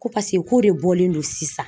Ko paseke k'o de bɔlen don sisan.